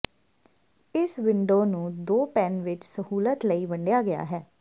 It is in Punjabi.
ਇਸ ਵਿੰਡੋ ਨੂੰ ਦੋ ਪੈਨ ਵਿੱਚ ਸਹੂਲਤ ਲਈ ਵੰਡਿਆ ਗਿਆ ਹੈ